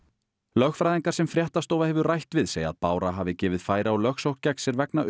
lögfræðingar sem fréttastofa hefur rætt við segja að Bára hafi gefið færi á lögsókn gegn sér vegna